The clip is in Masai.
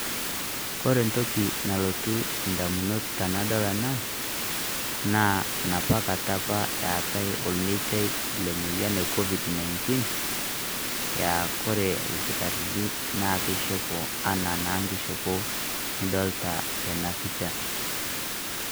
Kore ntoki nalotuu ndamunot tanadol ena naa napaa kaata epa etai olmeitia le moyian e COVID-19 eya kore ilkitarini naa kishopo ena naa nkishopoo nidolita tena pichaa.